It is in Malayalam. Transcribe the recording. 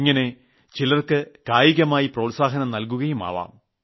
ഇനിയും ചിലർക്ക് കായികമായി പ്രോത്സാഹനം നൽകുകയും ആവാം